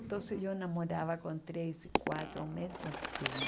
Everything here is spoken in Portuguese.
Então eu namorava com três e quatro ao mesmo